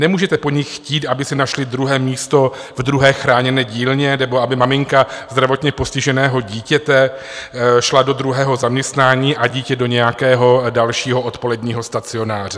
Nemůžete po nich chtít, aby si našli druhé místo ve druhé chráněné dílně nebo aby maminka zdravotně postiženého dítěte šla do druhého zaměstnání a dítě do nějakého dalšího odpoledního stacionáře.